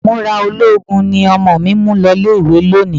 Ìmúra ológun ni ọmọ mi mú lo ilé-ìwé lónìí